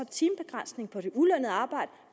timebegrænsning på det ulønnede arbejde